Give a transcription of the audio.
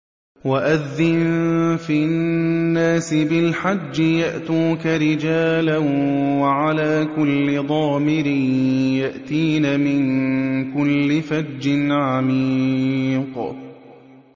وَأَذِّن فِي النَّاسِ بِالْحَجِّ يَأْتُوكَ رِجَالًا وَعَلَىٰ كُلِّ ضَامِرٍ يَأْتِينَ مِن كُلِّ فَجٍّ عَمِيقٍ